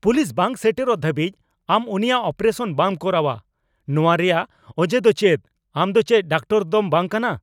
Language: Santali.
ᱯᱩᱞᱤᱥ ᱵᱟᱝ ᱥᱮᱴᱮᱨᱚᱜ ᱫᱷᱟᱹᱵᱤᱡ ᱟᱢ ᱩᱱᱤᱭᱟᱜ ᱚᱯᱟᱨᱮᱥᱚᱱ ᱵᱟᱢ ᱠᱚᱨᱟᱣᱼᱟ ᱱᱚᱶᱟ ᱨᱮᱭᱟᱜ ᱚᱡᱮ ᱫᱚ ᱪᱮᱫ ? ᱟᱢ ᱫᱚ ᱪᱮᱫ ᱰᱟᱠᱴᱚᱨ ᱫᱚᱢ ᱵᱟᱝ ᱠᱟᱱᱟ ?